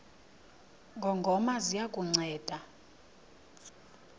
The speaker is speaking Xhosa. ngongoma ziya kukunceda